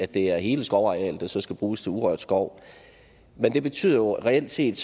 det er hele skovarealet der så skal bruges til urørt skov men det betyder jo reelt set